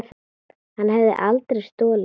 Hann hefði aldrei stolið svona.